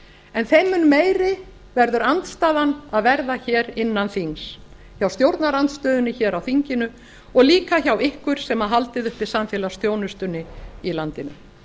en þeim mun meiri verður andstaðan að vera hér innan þings hjá stjórnarandstöðunni hér á þinginu og líka hjá ykkur sem haldið uppi samfélagsþjónustunni í landinu